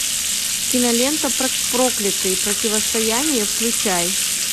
кинолента проклятые противостояние включай